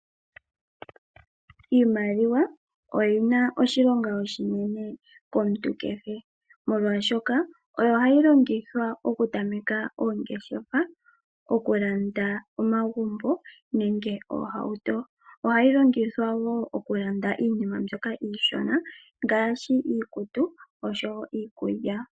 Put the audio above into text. Iimaliwa oyina oshilonga oshinene komuntu kehe molwaashoka oyo hayi longithwa oku tameka oongeshefa oku landa omagumbo nenge oohauto. Ohayi longithwa woo oku landa iinima mbyoka iishona ngaashi iikutu osho wo iikulya.